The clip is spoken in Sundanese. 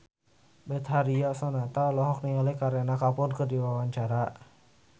Betharia Sonata olohok ningali Kareena Kapoor keur diwawancara